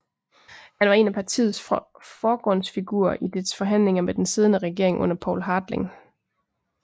Han var en af partiets forgrundsfigurer i dets forhandlinger med den siddende regering under Poul Hartling